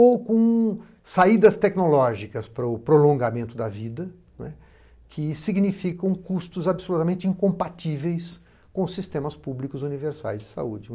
Ou com saídas tecnológicas para o prolongamento da vida que significam custos absolutamente incompatíveis com sistemas públicos universais de saúde.